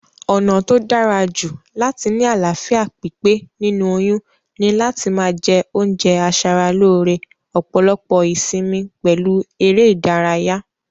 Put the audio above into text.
Ònà tó dárajù láti ni àláfíà pípé nínú oyún ni láti ma je oúnje asaralóre, òpòlopò ìsimi pèlu eré ìdárayá